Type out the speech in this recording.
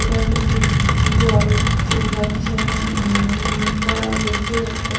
এখানে থেকে জল চৌবাচ্চা উমমম করা হয়েছে একটা।